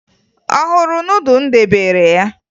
Ọ hụrụ nudụ m debere ya?